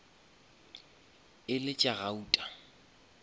e le tša gauta